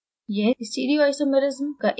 यह स्टीरियोआइसोमेरिस्म का एक प्रकार है